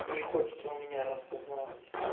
не хочет он меня распознавать